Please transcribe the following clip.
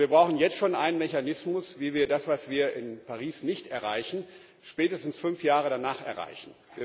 Und wir brauchen jetzt schon einen Mechanismus, wie wir das, was wir in Paris nicht erreichen, spätestens fünf Jahre danach erreichen.